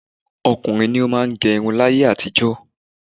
Ọkùnrin ni ó máà ń gẹ irun láyé àtijọ́.